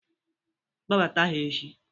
Kpobata ha echi!